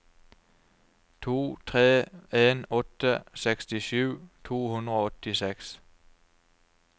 to tre en åtte sekstisju to hundre og åttiseks